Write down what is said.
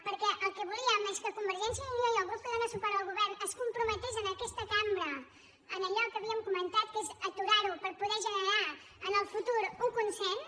perquè el que volíem és que convergència i unió el grup que dóna suport al govern es comprometés en aquesta cambra a allò que havíem comentat que és aturar ho per poder generar en el futur un consens